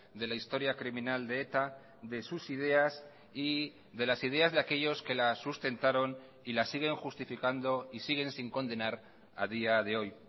de la historia criminal de eta de sus ideas y de las ideas de aquellos que la sustentaron y la siguen justificando y siguen sin condenar a día de hoy